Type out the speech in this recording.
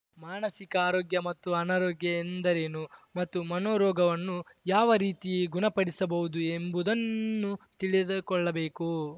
ಮಾನಸಿಕ ಆರೋಗ್ಯ ಮತ್ತು ಅನಾರೋಗ್ಯ ಎಂದರೇನು ಮತ್ತು ಮನೋರೋಗವನ್ನು ಯಾವ ರೀತಿ ಗುಣಪಡಿಸಬಹುದು ಎಂಬುದನ್ನೂ ತಿಳಿದುಕೊಳ್ಳಬೇಕು